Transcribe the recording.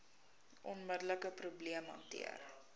onmiddelike probleem hanteer